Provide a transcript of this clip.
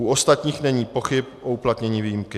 U ostatních není pochyb o uplatnění výjimky.